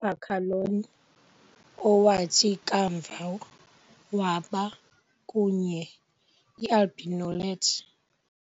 Boccaleone, owathi kamva waba, kunye IAlbinoleffe.